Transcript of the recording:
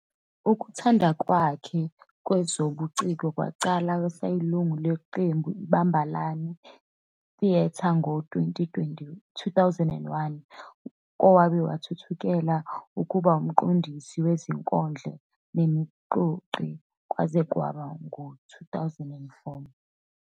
Ukuthanda kwakhe kwezobuciko waqala eseyilungu leqembu iBambanani Theatre ngo-2001 wabe esethuthukela ekubeni ngumqondisi wezinkondlo nomxoxi kwaze kwaba ngu-2004.